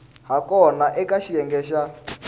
ha kona eka xiyenge xa